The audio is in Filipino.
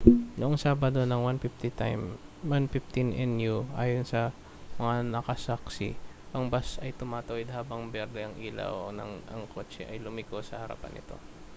noong sabado ng 1:15 n.u. ayon sa mga nakasaksi ang bus ay tumatawid habang berde ang ilaw nang ang kotse ay lumiko sa harapan nito